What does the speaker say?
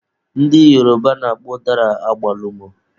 Ndị Yoruba na-akpọ ụdara agbalumọ.